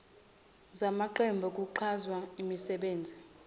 zamaqembu kwiqhaza nasemisebenzini